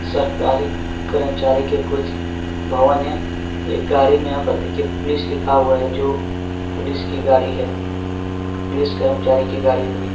सरकारी कर्मचारी के कुछ भवन हैं | ये गाड़ी में यहां पर देखिये पुलिस लिखा हुआ है जो पुलिस की गाड़ी है | पुलिस कर्मचारी की गाड़ी होगी।